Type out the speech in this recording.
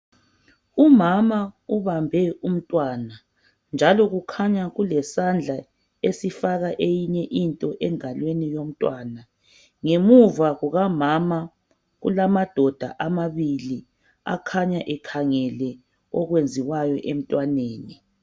Umama ubambe umntwana, njalo kukhanya kulesandla esifaka eyinye into engalweni yomntwana. Ngemuva kukamama kulamadoda amabili akhanya ekhangele okwenziwayo emntwaneni.